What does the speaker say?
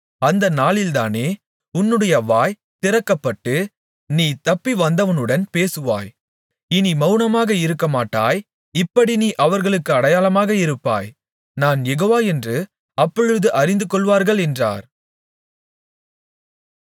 அந்த நாளிலேதானே உன்னுடைய வாய் திறக்கப்பட்டு நீ தப்பிவந்தவனுடன் பேசுவாய் இனி மவுனமாக இருக்கமாட்டாய் இப்படி நீ அவர்களுக்கு அடையாளமாக இருப்பாய் நான் யெகோவா என்று அப்பொழுது அறிந்துகொள்வார்கள் என்றார்